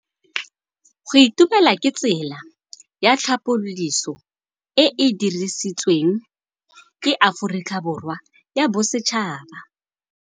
Go itumela ke tsela ya tlhapolisô e e dirisitsweng ke Aforika Borwa ya Bosetšhaba.